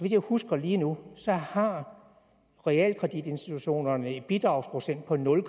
jeg husker lige nu har realkreditinstitutterne en bidragsprocent på nul